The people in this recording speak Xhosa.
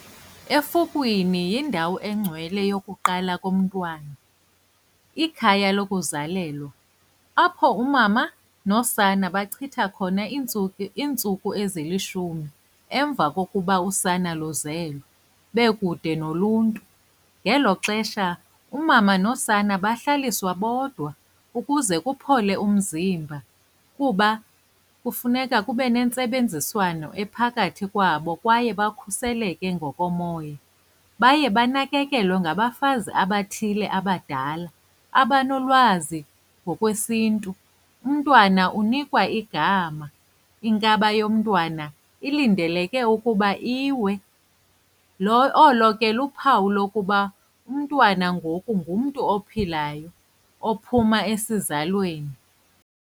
Efukwini yindawo engcwele yokuqala komntwana, ikhaya lokuzalelwa, apho umama nosana bachitha khona iintsuku iintsuku ezilishumi emva kokuba usana luzelwe bekude noluntu. Ngelo xesha umama nosana bahlaliswe bodwa ukuze kuphole umzimba kuba kufuneka kube nentsebenziswano ephakathi kwabo kwaye bakhuseleke ngokomoya. Baye banakakelwe ngabafazi abathile abadala, abanolwazi ngokwesiNtu. Umntwana unikwa igama, inkaba yomntwana ilindeleke ukuba iwe. Lo, olo ke luphawu lokuba umntwana ngoku ngumntu ophilayo ophuma esizalweni.